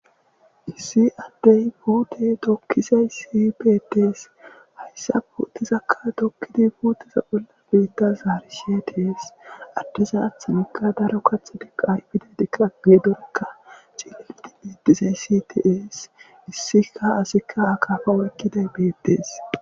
issi addey puute dokkizay si betees hayssa putizakka dokkidi puuteza golla biitta zaari seties addeza aththamikka daro kaxudiqay pida dika geedorekka cilliidi etizay sities issika asikka akaafa oykkiday betees